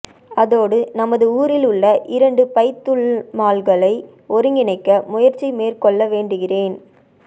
அதோடு நமது ஊரில் உள்ள இரண்டு பைத்துல்மால்களை ஒருங்கிணைக்க முயற்சி மேற்கொள்ள வேண்டுகிறேன்